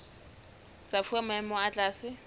tsa fuwa maemo a tlase